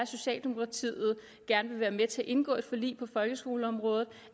socialdemokratiet gerne vil være med til at indgå et forlig på folkeskoleområdet